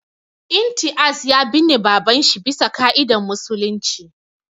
Imtiaz ya binne babanshi bisa ƙa'idan musulunci